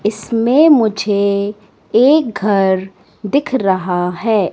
इसमें मुझे एक घर दिख रहा है।